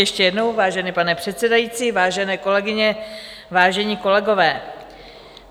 Ještě jednou, vážený pane předsedající, vážené kolegyně, vážení kolegové.